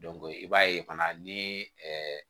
i b'a ye fana ni